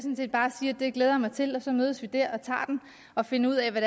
jeg glæder mig til og så mødes vi derfra og finder ud af hvad